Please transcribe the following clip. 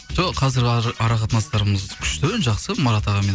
жоқ қазір ара қатынастарымыз күшті жақсы марат ағамен